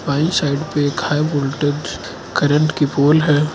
Right side में एक high voltage current के पोल है।